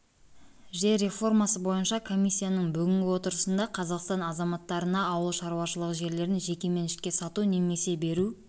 жер реформасы бойынша комиссияның бүгінгі отырысында қазақстан азаматтарына ауыл шаруашылығы жерлерін жеке меншікке сату немесе беру